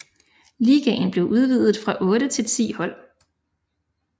Ligaen blev udvidet fra otte til ti hold